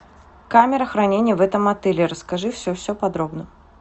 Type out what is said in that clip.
камера хранения в этом отеле расскажи все все подробно